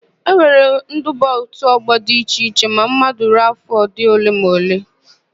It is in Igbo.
E nwere iduba n'òtù ọ́gbọ̀ di iche iche ma mmadu ruo áfọ̀ dị ole ma ole.